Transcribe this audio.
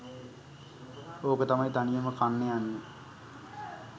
ඕක තමයි තනියම කන්න යන්නෙ